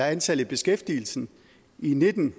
antallet i beskæftigelse i og nitten